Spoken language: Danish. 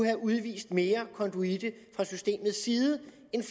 have udvist mere konduite fra systemets side